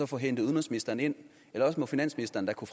få hentet udenrigsministeren ind eller også må finansministeren da kunne